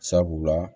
Sabula